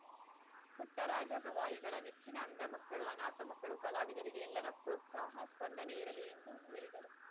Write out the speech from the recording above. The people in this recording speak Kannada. ಪುಟ್ಟರಾಜ ಗವಾಯಿಗಳ ನೆಚ್ಚಿನ ಅಂಧ ಮಕ್ಕಳು ಅನಾಥ ಮಕ್ಕಳು ಕಲಾವಿದರಿಗೆ ಎಲ್ಲರ ಪ್ರೋತ್ಸಾಹ ಸ್ಪಂದನೆ ಇರಲಿ ಎಂದು ಹೇಳಿದರು